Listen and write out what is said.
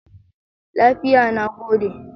Lafiya, na gode.